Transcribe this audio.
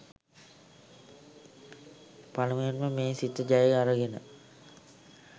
පළමුවෙන්ම මේ සිත ජය අරගෙන